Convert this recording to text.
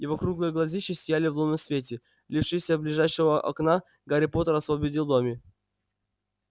его круглые глазищи сияли в лунном свете лившемся из ближайшего окна гарри поттер освободил добби